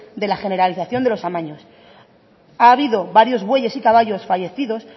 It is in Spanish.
de le generalización de los amaños ha habido varios bueyes y caballos fallecidos